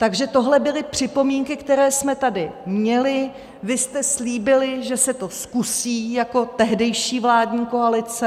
Takže tohle byly připomínky, které jsme tady měli, vy jste slíbili, že se to zkusí, jako tehdejší vládní koalice.